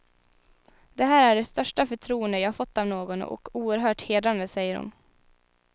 Det här är det största förtroende jag fått av någon och oerhört hedrande, säger hon.